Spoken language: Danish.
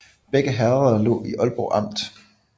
Begge herreder lå i Aalborg Amt